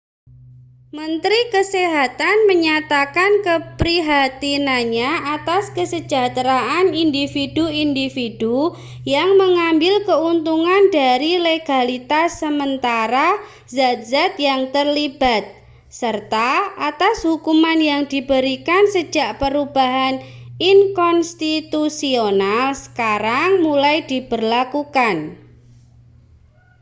menteri kesehatan menyatakan keprihatinannya atas kesejahteraan individu-individu yang mengambil keuntungan dari legalitas sementara zat-zat yang terlibat serta atas hukuman yang diberikan sejak perubahan inkonstitusional sekarang mulai diberlakukan